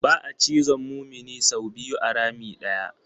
Ba'a cizon mumini sau biyu a rami ɗaya.